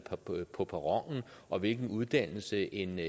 på perronen og hvilken uddannelse en